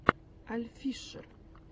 альффишер